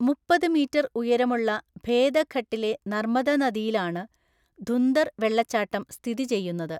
മുപ്പത് മീറ്റർ ഉയരമുള്ള ഭേദഘട്ടിലെ നർമ്മദ നദിയിലാണ് ധുന്ദർ വെള്ളച്ചാട്ടം സ്ഥിതി ചെയ്യുന്നത്.